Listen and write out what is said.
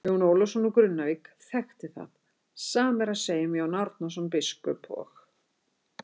Jón Ólafsson úr Grunnavík þekkti það, sama er að segja um Jón Árnason biskup og.